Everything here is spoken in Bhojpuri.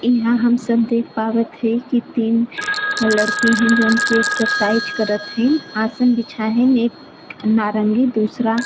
इहां हम सब देख पावत हई की तीन लड़की हैं जौन की एक्सरसाइज करत हईन्। आसन बिछा हईन् एक नारंगी दूसरा --